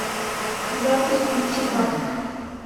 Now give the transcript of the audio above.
запись бьютимаг